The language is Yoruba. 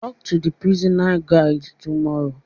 Talk to the prison guard tomorrow